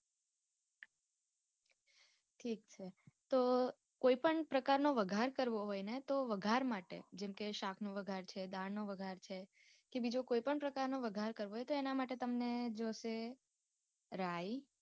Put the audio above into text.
ઠીક છે તો કોઇ પણ પ્રકારો નો વઘાર કરવો હોય ને તો વઘાર માટે જેમ કે શાક નો વઘાર છે દાળ નો વઘાર છે કે બીજો કોઇ પણ પ્રકાર નો વઘાર કરવો હોય તો એના માટે તમને જોષે રાય.